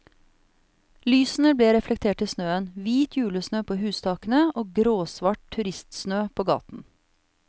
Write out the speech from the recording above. Lysene ble reflektert i snøen, hvit julesnø på hustakene og gråsvart turistsnø på gaten.